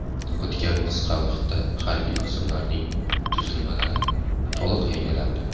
O‘tgan qisqa vaqtda harbiy qismlarning tuzilmalari to‘liq yangilandi.